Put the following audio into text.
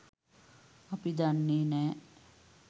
අපි දන්නේ නෑ